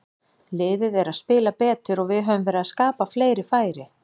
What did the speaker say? Liðið er að spila betur og við höfum verið að skapa fleiri færi.